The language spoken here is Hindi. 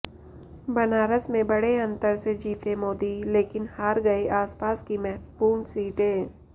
बनारस में बड़े अंतर से जीते मोदी लेकिन हार गए आसपास की महत्वपूर्ण सीटें